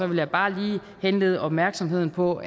vil jeg bare lige henlede opmærksomheden på